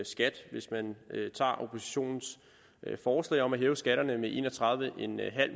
skat hvis man tager oppositionens forslag om at hæve skatterne med en og tredive